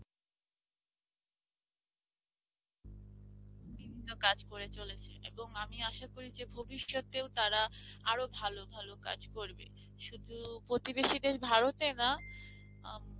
বিভিন্ন কাজ করে চলেছে এবং আমি আশা করি যে ভবিষ্যতেও তারা আরো ভাল ভাল কাজ করবে শুধু প্রতিবেশী দেশ ভারতে না আহ